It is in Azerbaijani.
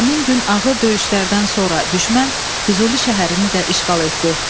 Həmin gün ağır döyüşlərdən sonra düşmən Füzuli şəhərini də işğal etdi.